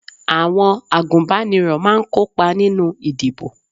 Àwọn agunbaniro máa ń kópa nínú ìdìbò